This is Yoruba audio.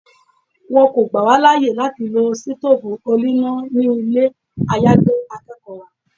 Wọ́n kọ́ gbà wá láyè láti lọ sítófù oníná ni ilé àyágbé akẹ́kọ̀ọ́ wa.